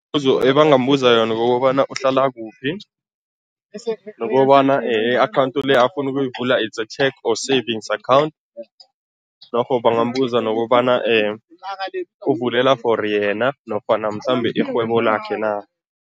Ebangambuza yona kukobana uhlala kuphi nokobana i-akhawundi le afuna ukuyivula it's a cheque or savings account, norho bangambuza nokobana uvulela for yena nofana mhlambe irhwebo lakhe na.